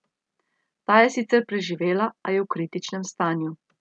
Ta je sicer preživela, a je v kritičnem stanju.